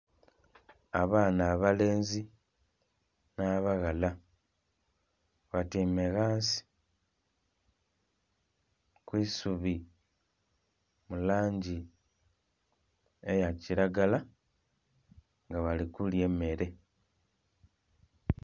Abaana abalenzi n'abaghala batyaime ghansi ku isubi mu langi eya kiragala nga bali kulya emmere.